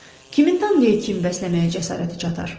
Kimin Tanrıya kin bəsləməyə cəsarəti çatar?